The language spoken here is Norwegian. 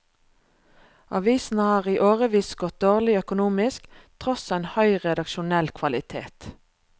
Avisen har i årevis gått dårlig økonomisk, tross en høy redaksjonell kvalitet.